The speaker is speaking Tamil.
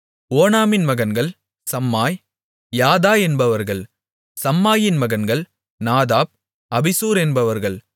ஓனாமின் மகன்கள் சம்மாய் யாதா என்பவர்கள் சம்மாயின் மகன்கள் நாதாப் அபிசூர் என்பவர்கள்